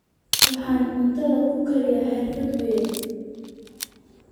Waxaan cuntadan ku kariyey xirfad weyn